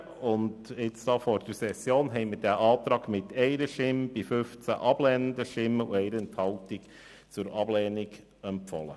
Anlässlich der Sitzung vor der Session haben wir den Antrag mit 1 Ja-Stimme gegen 15 Nein-Stimmen bei 1 Enthaltung zur Ablehnung empfohlen.